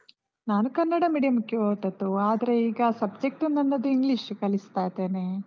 ನಾನು ಕನ್ನಡ medium ಗೆ ಹೋದದ್ದು ಆದ್ರೆ, ಈಗ subject ನನ್ನದು English ಕಲಿಸ್ತಾ ಇದ್ದೇನೆ.